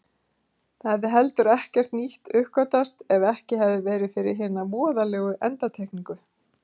Það hefði heldur ekkert nýtt uppgötvast ef ekki hefði verið fyrir hina voðalegu endurtekningu.